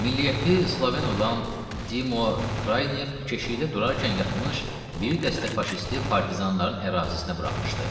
Milliyyəti Sloven olan Dimo Kraynev keşiyində durarkən yatmış, bir dəstə faşisti partizanların ərazisinə buraxmışdı.